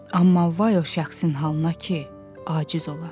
Amma vay o şəxsin halına ki, aciz ola.